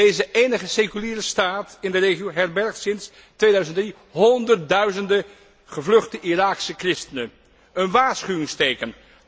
Deze enige seculiere staat in de regio herbergt sinds 2003 honderdduizenden gevluchte Iraakse christenen, een waarschuwingsteken.